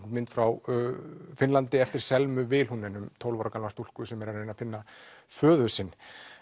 mynd frá Finnlandi eftir Selmu um tólf ára gamla stúlku sem er að reyna að finna föður sinn